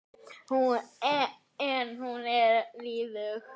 En hún er liðug.